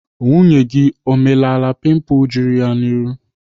Nwunye gị o melaala pimpul juru ya n'ihu?